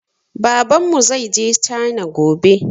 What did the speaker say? Babanmu zaije cana gobe